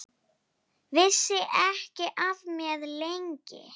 Vissi ekki af mér, lengi.